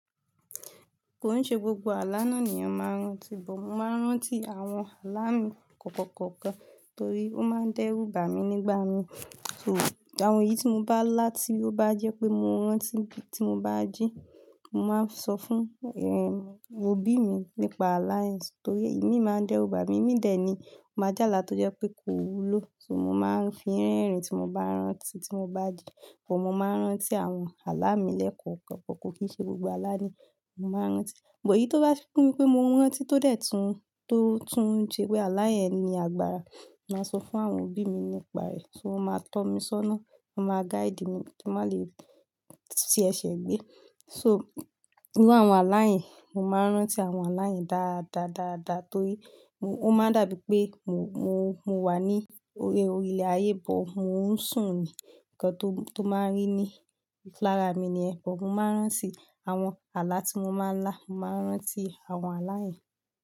Kò ń ṣe gbogbo àlá náà ni ọ̀ máa ń rántí, bọ̀ máa ń rántí àwọn àlá mi kọ̀ọ̀kọ̀ọ̀kọ̀ọ̀ torí ó máa ń dẹ́rù bà mí nígbà mi. So àwọn èyí tí mo bá lá tí ó bá jẹ́ pé mo rántí tí mo bá jí, mo máa ń sọ fún, awon, òbí mi nípa àlá yẹn torí imi máa ń dẹ́rù bà mí, mí dè ní máa jálà tó jẹ́ pé kò wúlò. So mo máa ń fi rẹ́rìn-ín tí mo bá rántí tí mo bá jí. But mó máa ń rántí àwọn àlá mi lẹ́kọ̀ọ̀ kan, kò kì í ṣe gbogbo àlá ni mo máa ń rántí. But èyí tó bá fún mi pé mo ń rántí tó dẹ̀ tún, tó tún ń ṣe pé àlá yẹn ni agbára, màá sọ fún àwọn òbí mi nípa rẹ̀. So wọ́n máa tọ́ mi sọ́nà, wọ́n máa guide mi kí n má lè ṣi ẹṣẹ̀ gbé. So nínú àwọn àlá yẹn, mo máa ń rántí àwọn àlá yẹn dáadáa, dáadáa torí ó máa ń dàbí pé mo, mo, mo wà ní orí, orí ilẹ̀ ayé but mo ń sùn ní. Ǹkan tó máa ń rí ní lára mi nìyẹn. But mo máa ń rántí àwọn àlá tí mo máa ń lá, mo máa ń rántí àwọn àlá yẹn.